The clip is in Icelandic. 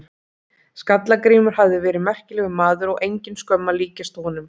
Skalla-Grímur hafi verið merkilegur maður og engin skömm að líkjast honum.